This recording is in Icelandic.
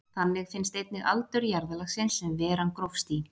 Þannig finnst einnig aldur jarðlagsins sem veran grófst í.